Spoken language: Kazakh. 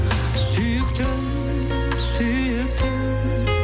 сүйіктім сүйіктім